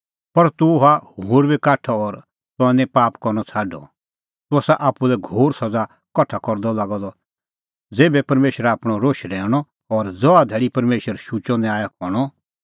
पर तूह हुअ होर बी काठअ और तंऐं निं पाप करनअ छ़ाडअ तूह आसा आप्पू लै घोर सज़ा कठा करदअ लागअ द ज़ेभै परमेशरा आपणअ रोश रहैऊंणअ और ज़हा धैल़ी परमेशरा शुचअ न्याय करनअ